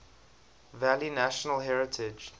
valley national heritage